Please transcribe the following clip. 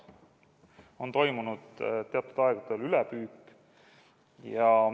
On toimunud teatud aegadel ülepüük.